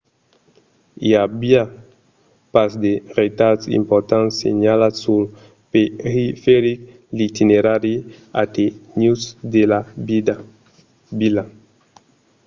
i aviá pas de retards importants senhalats sul periferic l'itinerari alternatiu de la vila